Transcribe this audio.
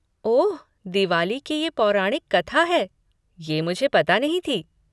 ओह दिवाली की ये पौराणिक कथा है, ये मुझे पता नहीं थी।